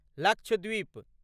Lakshadweep